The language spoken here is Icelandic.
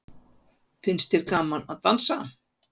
Finnst þér gaman að dansa?